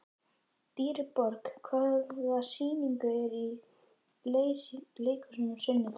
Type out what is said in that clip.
Dýrborg, hvaða sýningar eru í leikhúsinu á sunnudaginn?